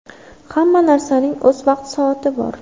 Hamma narsaning o‘z vaqti-soati bor.